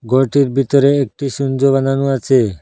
ঘরটির ভিতরে একটি সিঞ্জো বানানো আছে।